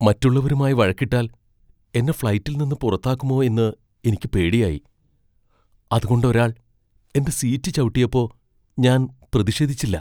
മറ്റുള്ളവരുമായി വഴക്കിട്ടാൽ എന്നെ ഫ്ളൈറ്റിൽ നിന്ന് പുറത്താക്കുമോ എന്ന് എനിക്ക് പേടിയായി , അതുകൊണ്ട് ഒരാൾ എന്റെ സീറ്റ് ചവിട്ടിയപ്പോ ഞാൻ പ്രതിഷേധിച്ചില്ല.